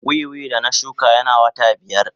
Wiwi da na shuka yana wata biyar.